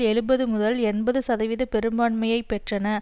எழுபது முதல் எண்பது சதவிகித பெரும்பான்மையை பெற்றன